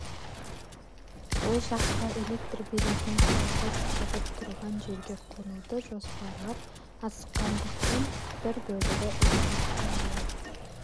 ол жақта электр беретін құрылғы сызығы тұрған жерге қонуды жоспарлап асыққандықтан бір бөлігі ілініп қалуы